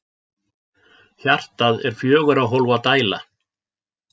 Hjartað er fjögurra hólfa dæla.